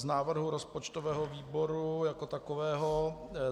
Z návrhu rozpočtového výboru jako takového: